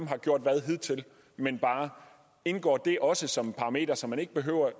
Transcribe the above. har gjort hvad hidtil men bare indgår det også som en parameter så man ikke behøver